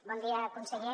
bon dia conseller